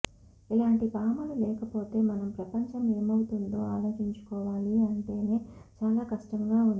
ఇలాంటి భామలు లేకపోతె మనం ప్రపంచం ఏమవుతుందో ఆలోచించుకోవాలి అంటేనే చాలా కష్టంగా ఉంది